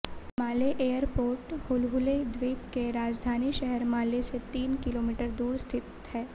माले airport Hulhule द्वीप के राजधानी शहर माले से तीन किलोमीटर दूर स्थित है